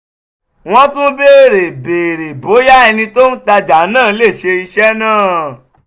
wọ́n tún béèrè béèrè bóyá ẹni tó ń ta ọjà náà lè ṣe iṣẹ́ náà.